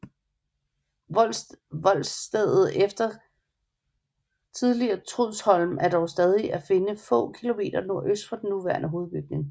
Voldstedet efter det tidligere Trudsholm er dog stadig at finde få kilometer nordøst for den nuværende hovedbygning